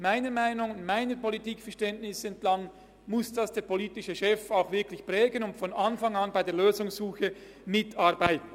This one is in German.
» Gemäss meinem Politikverständnis muss dies der politische Chef wirklich prägen und von Anfang an an der Lösungssuche mitarbeiten.